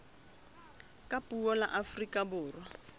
ka puo la afrika borwa